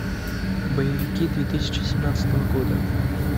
боевики две тысячи семнадцатого года